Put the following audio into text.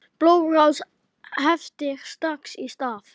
Blóðrás heftir strax í stað.